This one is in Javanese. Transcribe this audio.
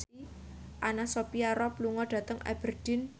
Anna Sophia Robb lunga dhateng Aberdeen